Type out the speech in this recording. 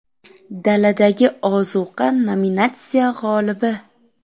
Daladagi ozuqa nominatsiyasi g‘olibi.